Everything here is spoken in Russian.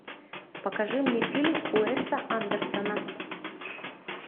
покажи мне фильм уэса андерсона